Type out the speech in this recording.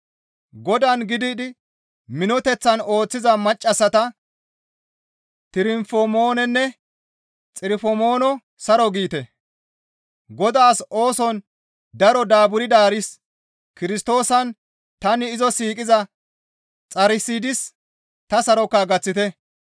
Godaan gididi minoteththan ooththiza maccassata Tirofimoononne Xirofimoono saro giite; Godaas ooson daro daaburdaaris Kirstoosan tani izo siiqiza Xarsidis ta saroka gaththite.